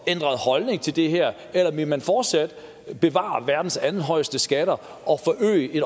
ændret holdning til det her eller vil man fortsat bevare verdens andenhøjeste skatter og forøge det